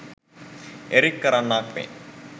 Eric කරන්නාක් මෙන්